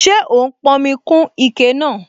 Ṣé ó n pọnmi kún ike náà?